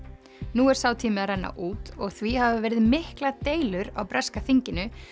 nú er sá tími að renna út og því hafa verið miklar deilur á breska þinginu